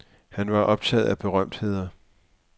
Han var optaget af berømtheder.